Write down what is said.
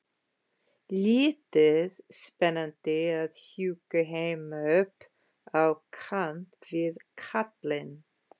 Lítið spennandi að húka heima upp á kant við kallinn.